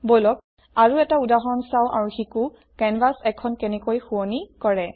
বলক আৰু এটা উদাহৰণ চাওঁ আৰু শিকোঁ কেনভাছ এখন কেনেকৈ শুৱনি কৰে